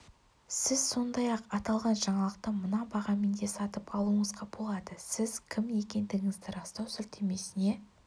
сіз сондай-ақ аталған жаңалықты мына бағамен де сатып алуыңызға болады сіз кім екендігіңізді растау сілтемесіне